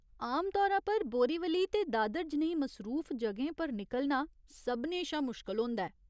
आमतौरा पर बोरीवली ते दादर जनेही मसरूफ जगहें पर निकलना सभनें शा मुश्कल होंदा ऐ।